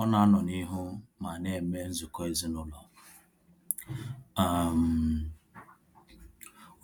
Ọ na anọ n'ihu ma ana eme nzukọ ezinaụlọ, um